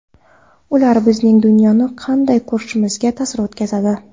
Ular bizning dunyoni qanday ko‘rishimizga ta’sir o‘tkazadi.